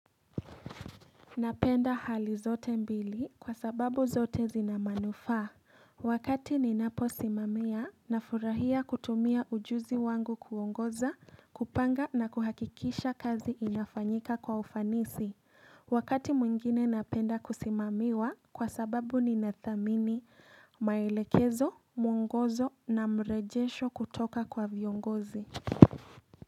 Napenda hali zote mbili kwa sababu zote zina manufaa Wakati ninapo simamia na furahia kutumia ujuzi wangu kuongoza, kupanga na kuhakikisha kazi inafanyika kwa ufanisi Wakati mwingine napenda kusimamiwa kwa sababu ninathamini maelekezo, muongozo na mrejesho kutoka kwa viongozi.